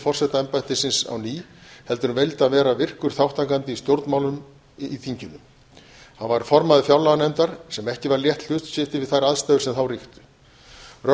forsetaembættisins á ný heldur vildi hann vera virkur þátttakandi í stjórnmálunum í þinginu hann varð formaður fjárlaganefndar sem ekki var létt hlutskipti við þær aðstæður sem þá ríktu rösku